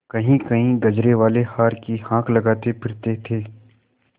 कहींकहीं गजरेवाले हार की हाँक लगाते फिरते थे